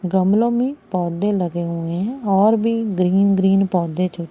गमलों में पौधे लगे हुए हैं और भी ग्रीन ग्रीन पौधे जो--